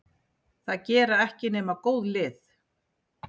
Það gera ekki nema góð lið.